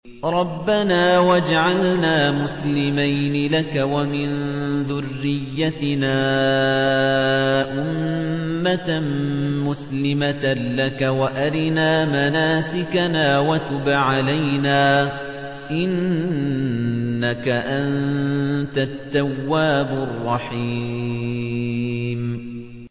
رَبَّنَا وَاجْعَلْنَا مُسْلِمَيْنِ لَكَ وَمِن ذُرِّيَّتِنَا أُمَّةً مُّسْلِمَةً لَّكَ وَأَرِنَا مَنَاسِكَنَا وَتُبْ عَلَيْنَا ۖ إِنَّكَ أَنتَ التَّوَّابُ الرَّحِيمُ